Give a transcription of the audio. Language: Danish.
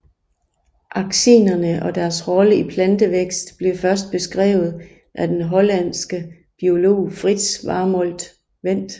Auxinerne og deres rolle i plantevækst blev først beskrevet af den hollandske biolog Frits Warmolt Went